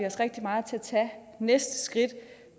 os rigtig meget til at tage næste skridt